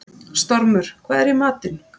Stormur, hvað er í matinn?